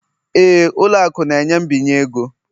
Éè, ụlọ akụ na-enye mbinye ego